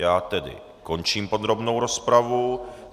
Já tedy končím podrobnou rozpravu.